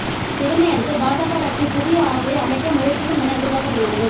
இதனையடுத்து பாஜக கட்சி புதிய ஆட்சியை அமைக்க முயற்சிக்கும் என எதிர்பார்க்கப்படுகிறது